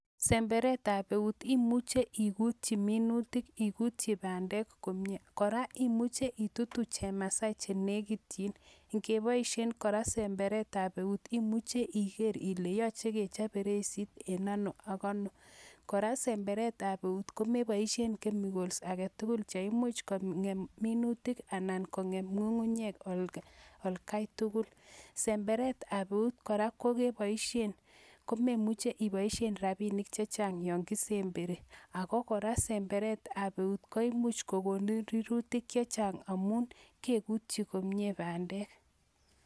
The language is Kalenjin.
Semberetab eut imuche igutyii minutiik, iguutyii bandek komie, kora imuche itutuu chemasai chenekityin Ingeboishen kora semberetab eut imuche igeer Ile yoche kechob bereisit en ano ak ano, Kora en semberetab eut komeboishien kemikols agetugul cheimuch kongem minutiik anan kongem ngungunyek oldatugul. Semberetab eut kora kokeboishien eut komemuche iboishie rabinik chechang yon kisemberii, ako kora semberetab eut koimuch kokonun rurutiik chechang amun keekutyii komie bandek